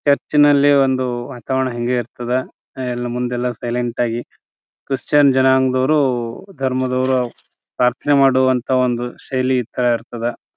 ಚರ್ಚಿನಲ್ಲಿ ಒಂದು ವಾತಾವರಣ ಹಿಂಗೇ ಇರ್ತದ. ಹೂ ಮುಂದೆಲ್ಲಾ ಸೈಲೆಂಟ್ ಆಗಿ ಕ್ರಿಶ್ಚಿಯನ್ ಜನಾಂಗದವ್ರು ಧರ್ಮದವರೂ ಅವರೂ ಪಪ್ರಾರ್ಥನೆ ಮಾಡುವಂತ ಒಂದು ಶೈಲಿ ಇತರಾ ಇರ್ತದ .